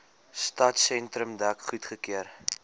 stadsentrum dek goedgekeur